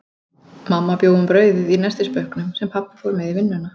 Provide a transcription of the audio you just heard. Mamma bjó um brauðið í nestisbauknum, sem pabbi fór með í vinnuna.